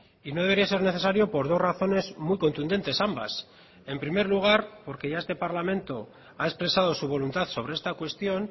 y no debería ser necesario por dos razones muy contundentes ambas en primer lugar porque ya este parlamento ha expresado su voluntad sobre esta cuestión